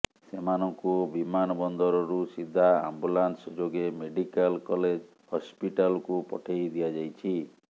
ସେମାନଙ୍କୁ ବିମାନ ବନ୍ଦରରୁ ସିଧା ଆମ୍ବୁଲାନ୍ସ ଯୋଗେ ମେଡିକାଲ କଲେଜ୍ ହସ୍ପିଟାଲକୁ ପଠେଇ ଦିଆଯାଇଛି